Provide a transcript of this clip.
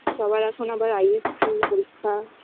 সবার এখন আবার ISC পরীক্ষা